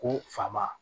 Ko fa ma